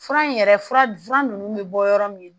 Fura in yɛrɛ fura fura ninnu bɛ bɔ yɔrɔ min na